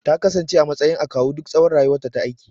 Takasance a matsayin akawu duk tsawon rayuwarta ta aiki